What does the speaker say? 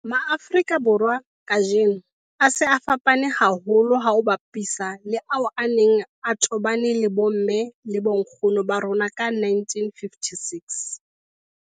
Afrika Borwa kajeno a se a fapane haholo ha o a bapisa le ao a neng a tobane le bomme le bonkgono ba rona ka 1956.